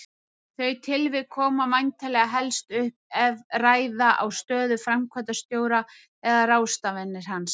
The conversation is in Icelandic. Þau tilvik koma væntanlega helstu upp ef ræða á stöðu framkvæmdastjóra eða ráðstafanir hans.